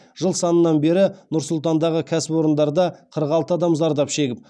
жыл санынан бері нұр сұлтандағы кәсіпорындарда қырық алты адам зардап шегіп